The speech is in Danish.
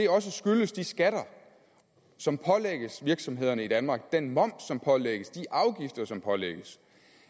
også skyldes de skatter som pålægges virksomhederne i danmark den moms som pålægges de afgifter som pålægges